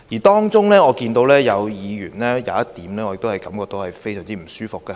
當中，有議員提出的其中一點令我感到非常不舒服。